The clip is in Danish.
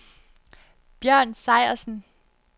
Bjørn Sejersen